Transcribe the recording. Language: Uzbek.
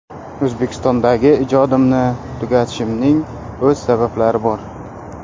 O‘zbekistondagi ijodimni tugatishimning o‘z sabablari bor.